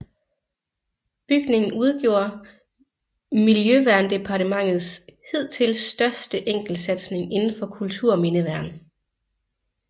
Bygningen udgjorde Miljøverndepartementets hidtil største enkeltsatsing inden for kulturmindeværn